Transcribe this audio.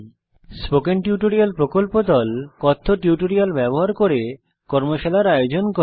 কথ্য টিউটোরিয়াল প্রকল্প দল কথ্য টিউটোরিয়াল ব্যবহার করে কর্মশালার আয়োজন করে